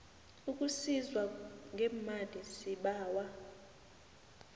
ukusizwa ngemali sibawa